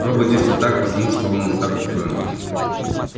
робот действовал так потому что он уже так устроен